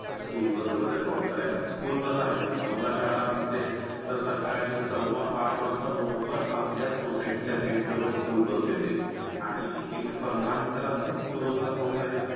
School bus पर्यंत drop करायला, नऊला शाळा असते तर सकाळी सव्वा आठ वाजता बरोबर आपल्या society च्या gate जवळ school bus येते आणि एक पंधरा मिनिटे लागतात school bus ला पोहोचायला.